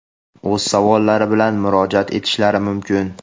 o‘z savollari bilan murojaat etishlari mumkin.